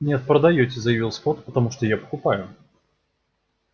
нет продаёте заявил скотт потому что я покупаю